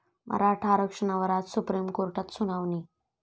मराठा आरक्षणावर आज सुप्रीम कोर्टात सुनावणी